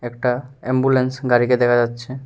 একটা এম্বুলেন্স গাড়িকে দেখা যাচ্ছে।